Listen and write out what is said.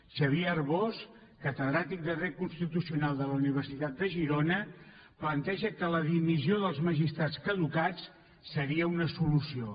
xavier arbós catedràtic de dret constitucional de la universitat de girona planteja que la dimissió dels magistrats caducats seria una solució